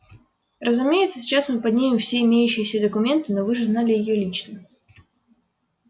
разумеется сейчас мы поднимем все имеющиеся документы но вы же знали её лично